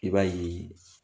I b'a ye